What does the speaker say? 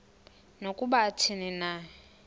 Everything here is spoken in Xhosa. nokuba athini na